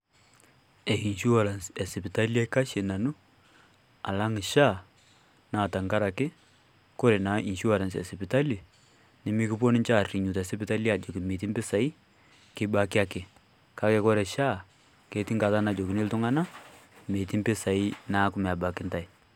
E insurance e sipitali kaikashie nanu alang SHA naa teng'arake kore naa insurance e sipitali nemikiponu ninchee arinyu te sipitali ajoki meetii mpisai kibaaki ake. Kaki kore SHA ketii ng'ataa najokini iltung'anak meeti mpisai neeku meebaki entai.